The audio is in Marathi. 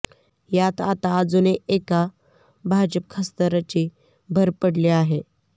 यात आता अजून एका भाजप खासदाराची भर पडली आहे